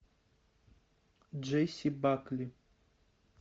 джесси бакли